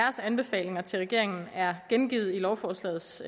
anbefalinger til regeringen er gengivet i lovforslagets